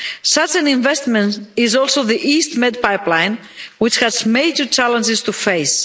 Such an investment is also the EastMed pipeline, which has major challenges to face.